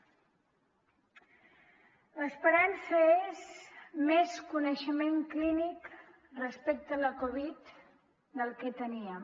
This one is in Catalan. l’esperança és més coneixement clínic respecte a la covid del que teníem